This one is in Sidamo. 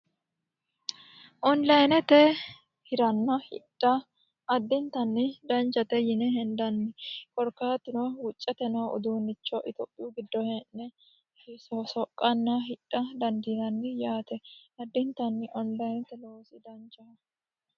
Oniliynete hiranna hidha adintanni danchate yinne hendanni korkaatu no wucete noo uduunicho itophiyu gido hee'ne soqanna hidha dandiinanni yaate adintanni oniliynete loosi danchaho.